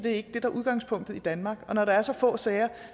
ikke det der er udgangspunktet i danmark og når der er så få sager